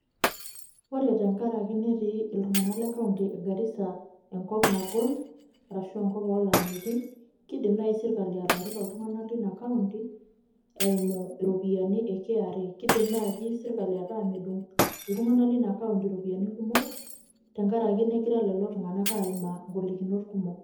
ore tenkaraki netii iltunganak le kaunti e garisa enkop nagol arashu enkop oolamaeitin ,kidim naaji sirkali atareto iltunganak leina kaunti eimu iropiyiani e kra, kidim naaji sirkali ata medung' iltungana leina kaunti iropiyiani kumok tenkaraki negira lelo tunganak aimaa igolikinot kumok.